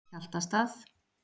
Hjaltastað